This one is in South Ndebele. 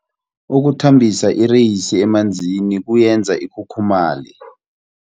Ukuthambisa ireyisi emanzini kuyenza ikhukhumaye.